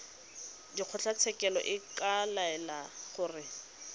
kgotlatshekelo e ka laela gore